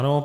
Ano.